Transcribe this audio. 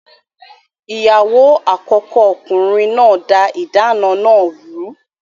Ìyàwó àkọ́kọ́ ọkùnrin náà da ìdáná náà rù ú.